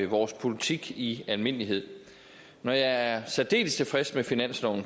vores politik i almindelighed når jeg er særdeles tilfreds med finansloven